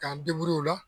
K'an u la